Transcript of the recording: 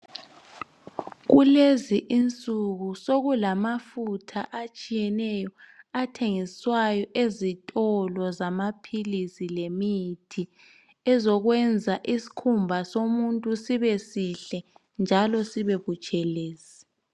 Kulezi insuku sokulamafutha atshiyeneyo athengiswa ezitolo zamaphilisi lemithi ayenza isikhumba somuntu sibe sihle njalo sibe butshelezi.